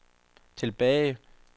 tilbage